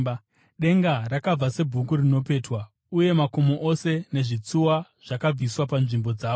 Denga rakabva sebhuku rinopetwa, uye makomo ose nezvitsuwa zvakabviswa panzvimbo dzazvo.